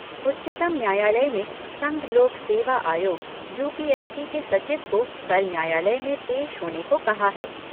उच्चतम न्यायालय ने संघ लोक सेवा आयोग यूपीएससी के सचिव को कल न्यायालय में पेश होने को कहा है।